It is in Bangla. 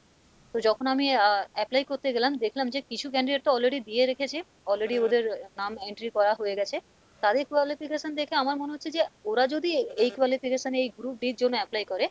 তো যখন আমি আহ apply করতে গেলাম দেখলাম যে কিছু candidate তো already দিয়ে রেখেছে already ওদের নাম entry করা হয়ে গেছে তাদের qualification দেখে আমার মনে হচ্ছে যে ওরা যদি এই qualification এ এই group d এর জন্য apply করে,